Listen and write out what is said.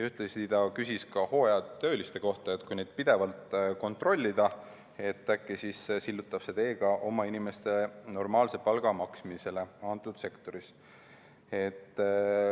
Ühtlasi küsis ta hooajatööliste kohta, et kui neid pidevalt kontrollida, siis äkki sillutab see tee ka oma inimestele normaalse palga maksmisele sektoris.